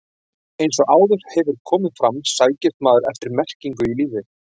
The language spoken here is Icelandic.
Eins og áður hefur komið fram sækist maðurinn eftir merkingu í lífið.